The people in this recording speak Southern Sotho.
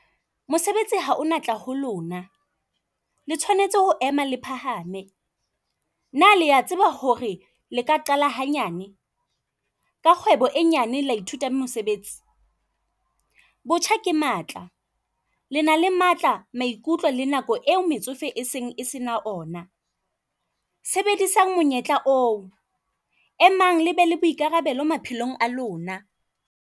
Mosebetsi ha o natla ho lona, le tshwanetse ho ema le phahame. Na lea tseba hore le ka qala hanyane. Ka kgwebo e nyane la ithuta mosebetsi. Botjha ke matla le na le matla, maikutlo le nako eo metsofe e seng se na ona. Sebedisang monyetla oo. Emang lebe le boikarabelo maphelong a lona.